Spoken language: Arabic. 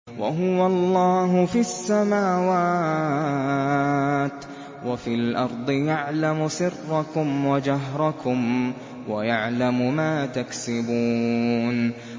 وَهُوَ اللَّهُ فِي السَّمَاوَاتِ وَفِي الْأَرْضِ ۖ يَعْلَمُ سِرَّكُمْ وَجَهْرَكُمْ وَيَعْلَمُ مَا تَكْسِبُونَ